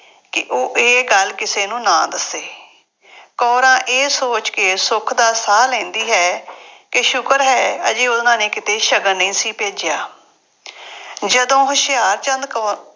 ਕਿ ਉਹ ਇਹ ਗੱਲ ਕਿਸੇ ਨੂੰ ਨਾ ਦੱਸੇ। ਕੌਰਾਂ ਇਹ ਸੋਚ ਕੇ ਸੁੱਖ ਦਾ ਸਾਹ ਲੈਂਦੀ ਹੈ ਕਿ ਸ਼ੁਕਰ ਹੈ ਹਜੇ ਉਹਨਾ ਨੇ ਕਿਤੇ ਸ਼ਗਨ ਨਹੀਂ ਸੀ ਭੇਜਿਆ। ਜਦੋਂ ਹੁਸ਼ਿਆਰਚੰਦ ਕੌ